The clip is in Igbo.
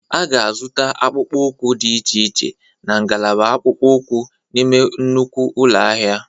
A ga-azụta akpụkpọ ụkwụ dị iche iche na ngalaba akpụkpọ ụkwụ n'ime nnukwu ụlọ ahịa.